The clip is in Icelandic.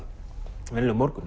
venjulegur morgunn